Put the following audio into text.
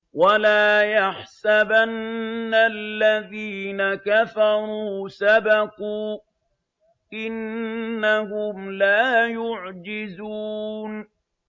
وَلَا يَحْسَبَنَّ الَّذِينَ كَفَرُوا سَبَقُوا ۚ إِنَّهُمْ لَا يُعْجِزُونَ